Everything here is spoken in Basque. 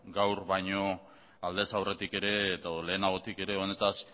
gaur baño aldez aurretikere edo lehenabotikere onetaz